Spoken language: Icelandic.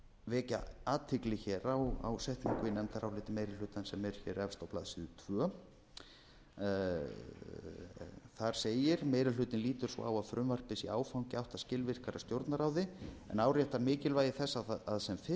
vekja athygli hér á setningu í nefndaráliti meiri hlutans sem er hér efst á blaðsíðu annað þar segir meiri hlutinn lítur svo á að frumvarpið sé áfangi í átt að skilvirkara stjórnarráði en áréttar mikilvægi þess að sem fyrst komi fram frumvarp